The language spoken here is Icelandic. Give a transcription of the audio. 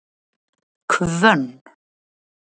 Hvönn